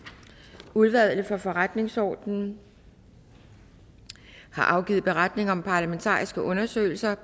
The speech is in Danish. udvalget for forretningsordenen har afgivet beretning om parlamentariske undersøgelser